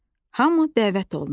Hamı dəvət olunur.